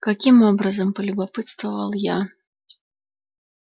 каким образом полюбопытствовал я